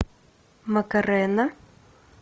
макарена